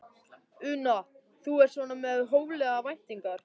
Una: Þú ert svona með hóflegar væntingar?